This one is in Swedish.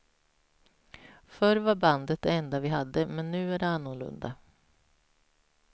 Förr var bandet det enda vi hade, men nu är det annorlunda.